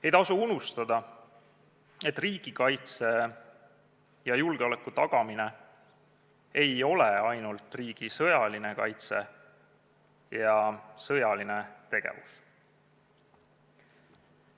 Ei tohi unustada, et riigikaitse ja julgeoleku tagamine ei ole ainult riigi sõjaline kaitse ja sõjaline tegevus.